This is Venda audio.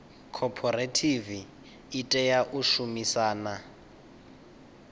khophorethivi i tea u shumisana